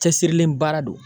Cɛsirilen baara don.